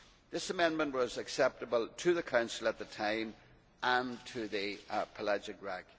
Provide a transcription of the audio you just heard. This amendment was acceptable to the Council at the time and to the Pelagic RAC.